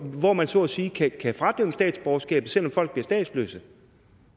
hvor man så at sige kan fradømmes statsborgerskabet så folk bliver statsløse